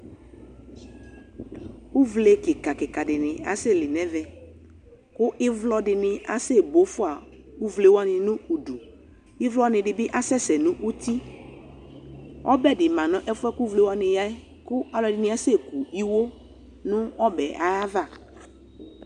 Uvle kɩka kɩka dɩnɩ asɛli nʋ ɛvɛ, kʋ ɩvlɔ dɩnɩ asɛbo fʋa uvle wanɩ nʋ udu Ɩvlɔnɩ dɩ bɩ asɛsɛ nʋ uti, ɔbɛ dɩ ma nʋ ɛfʋ yɛ kʋ uvle wanɩ ya yɛ, kʋ alʋ ɛdɩnɩ asɛku iwo nʋ ɔbɛ ayava